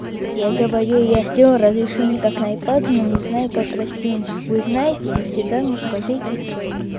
я говорю я сделал разрешение как на ай пат не знаю как растянуть вы знаете если да ну скажите